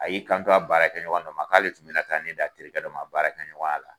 A y'i kan ton a baara kɛ ɲɔgɔn dɔ ma k'ale tun bɛna ta ne di a terikɛ dɔ ma baara kɛ ɲɔgɔn y' a la.